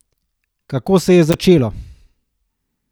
Kako se je začelo?